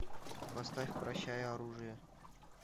поставь прощай оружие